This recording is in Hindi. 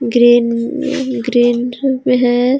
Green green hey.